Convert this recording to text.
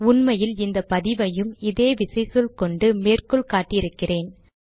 உண்மையில் இந்த பதிவையும் இதே விசைச்சொல் கொண்டு மேற்கோள் காட்டி இருக்கிறேன்